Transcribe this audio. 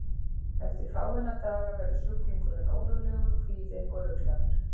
Eftir fáeina daga verður sjúklingurinn órólegur, kvíðinn og ruglaður.